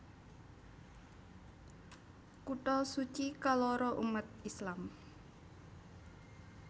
Kutha suci kaloro umat Islam